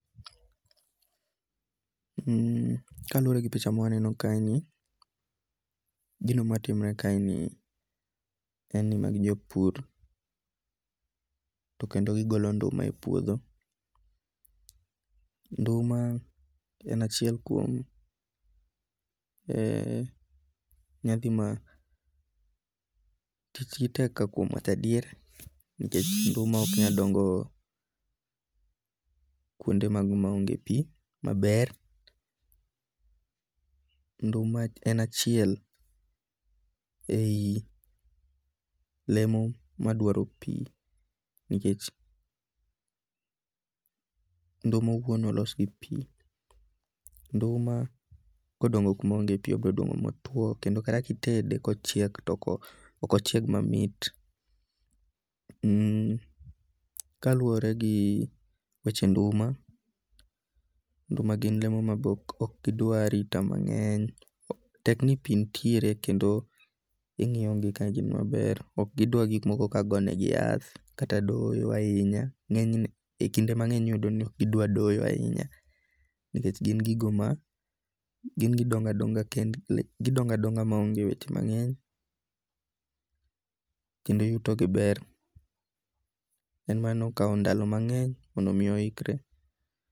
Ka luwore gi picha ma mwaneno kae ni, gino matimore kae ni en ni magi jopur to kendo gigolo nduma e puodho. Nduma en achiel kuom nyadhi ma tijgi tek ka kuom wacho adier nikech nduma ok nyal dongo kuonde mago maonge pi maber. Nduma en achiel e yi lemo madwaro pi. Nikech nduma owuon olos gi pi. Nduma kodongo kuma onge pi obiro dongo motuo kendo kata kitede kochiek ok ochieg mamit. Kaluwore gi weche nduma, nduma gin lemo ma bok ok gidwa arita mangeny. Tek ni pi nitiere kendo ing'iyo gi ka gin maber. Ok gidwa gik moko ka go ne gi yath kata doyo ahinya. Ng'enyne e kinde mang'eny iyudo ni ok gidwa doyo ahinya nikech gin gigo ma gidongo adonga ma onge weche mang eny kendo yuto gi ber. En mana ni okwa ndalo mang eny mondo mi oikre.